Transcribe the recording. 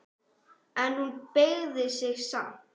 En hún beygði sig samt.